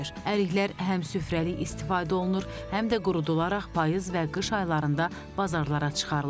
Əriklər həm süfrəlik istifadə olunur, həm də qurudularaq payız və qış aylarında bazarlara çıxarılır.